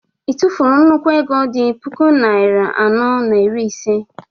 ị tụfuru nnukwu ego dị puku naịra anọ na iri ise?